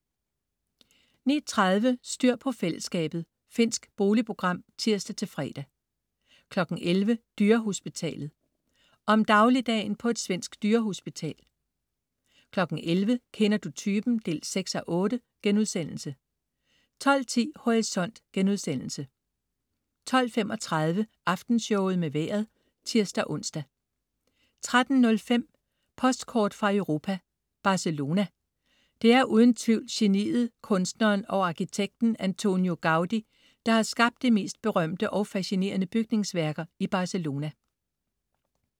09.30 Styr på fællesskabet. Finsk boligprogram (tirs-fre) 10.00 Dyrehospitalet. Om dagligdagen på et svensk dyrehospital 11.00 Kender du typen? 6:8* 12.10 Horisont* 12.35 Aftenshowet med Vejret (tirs-ons) 13.05 Postkort fra Europa: Barcelona. Det er uden tvivl geniet, kunstneren og arkitekten Antonio Gaudí, der har skabt de mest berømte og fascinerende bygningsværker i Barcelona